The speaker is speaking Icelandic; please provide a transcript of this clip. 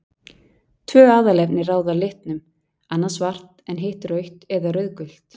Tvö aðalefni ráða litnum, annað svart en hitt rautt eða rauðgult.